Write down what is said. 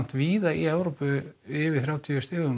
víða í Evrópu yfir þrjátíu stigum